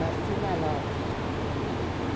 Nasci na Lapa.